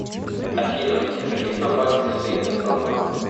афина из каких компаний состоит газпромбанк